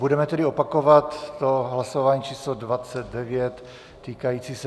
Budeme tedy opakovat to hlasování číslo 29 týkající se...